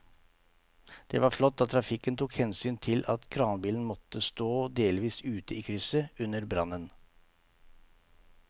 Det var flott at trafikken tok hensyn til at kranbilen måtte stå delvis ute i krysset under brannen.